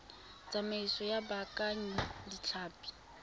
tsamaiso ya go baakanya ditlhapi